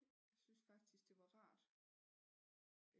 Jeg synes faktisk det var rart